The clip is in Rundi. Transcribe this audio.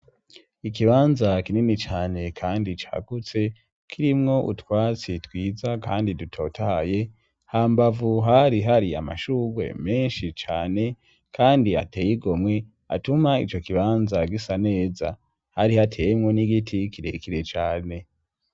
Ikibanza kinini cane kandi cagutse kirimwo utwatsi twiza kandi dutotaye hambavu hari hari amashugwe menshi cane kandi ateye igomwe atuma ico kibanza gisa neza hari hateye mwo n'igiti kirekire cane.